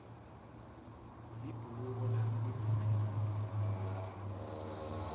libhuluko lami livitsikile